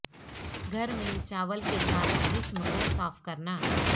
گھر میں چاول کے ساتھ جسم کو صاف کرنا